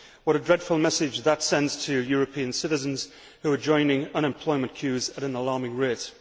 What a dreadful message that sends to European citizens, who are joining unemployment queues at an alarming rate!